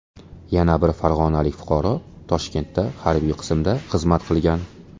Yana bir farg‘onalik fuqaro Toshkentda harbiy qismda xizmat qilgan.